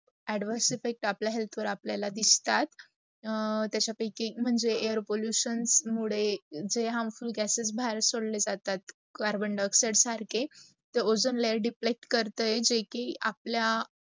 adverse effect आपला health वर आपल्याला दिसतात. त्याचा पायकी मन्हजे air pollution मूदे harmful gases भारे सोडतात ते कार्बन दिॉक्सिडे सारखे, ओझॉन layer deplect करते की आपला